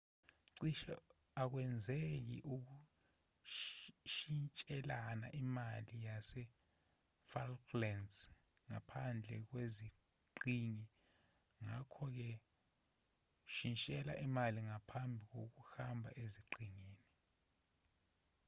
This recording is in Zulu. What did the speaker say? cishe akwenzeki ukushintshelana imali yasefalklands ngaphandlwe kweziqhingi ngakho-ke shintshelana imali ngaphambi kokuhamba eziqhingini